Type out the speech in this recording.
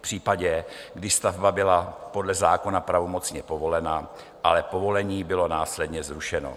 případě, když stavba byla podle zákona pravomocně povolena, ale povolení bylo následně zrušeno.